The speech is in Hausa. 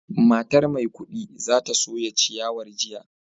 Matar maikudi za ta soya ciyawar gobe